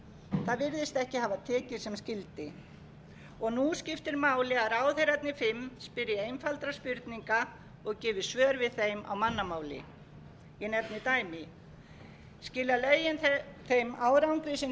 sem skyldi og nú skiptir máli að ráðherrarnir fimm spyrji einfaldra spurninga og gefi svör við þeim á mannamáli ég nefni dæmi skila lögin þeim árangri sem til var ætlast tókum við rangar